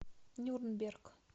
нюрнберг